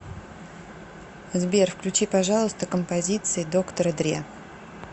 сбер включи пожалуйста композиции доктора дре